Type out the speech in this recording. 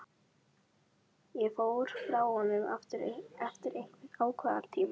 Og fór frá honum aftur eftir einhvern ákveðinn tíma.